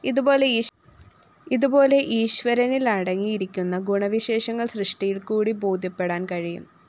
ഇതുപോലെ ഈശ്വരനിലടങ്ങിയിരിക്കുന്ന ഗുണവിശേഷങ്ങള്‍ സൃഷ്ടിയില്‍ക്കൂടി ബോധ്യപ്പെടാന്‍ കഴിയും